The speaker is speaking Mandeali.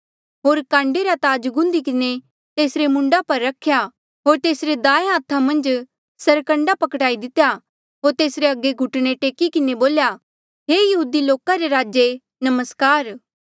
होर काण्डे रा ताज गुन्धी किन्हें तेसरे मूंडा पर रख्या होर तेसरे दायें हाथा मन्झ सरकंडा पकड़ाई दितेया होर तेसरे अगे घुटणे टेकी किन्हें बोल्या हे यहूदी लोका रे राजे नमस्कार